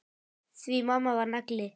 Því mamma var nagli.